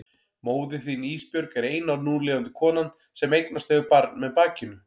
Móðir þín Ísbjörg er eina núlifandi konan sem eignast hefur barn með bakinu.